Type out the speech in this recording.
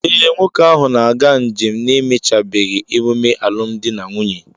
Ee, nwoke ahụ na-aga njem n'emechàbeghị emume alụmdi na nwunye